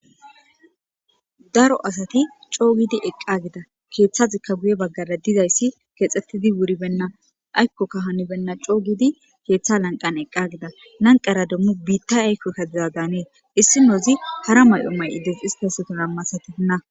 daro asati coo gidi eqqa gida keeththazikka guye baggara dizayssi keexxettidi wuribenna aykkokka hanibenna coo gidi keeththa lanqan eqqa gida nanqara demmu biitta aykko kadiza daanee issi noozi hara may7o may7ides histaseton ammasatina